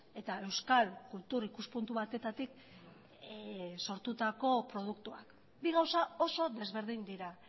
eta euskal kultur ikuspuntu batetatik sortutako produktuak bi gauza oso desberdin dira